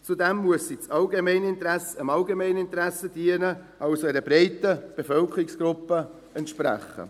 Zudem müssen sie dem Allgemeininteresse dienen, also dem Bedürfnis einer breiten Bevölkerungsgruppe entsprechen.